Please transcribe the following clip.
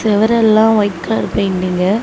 சுவரெல்லாம் white colour பெயின்டிங்கு .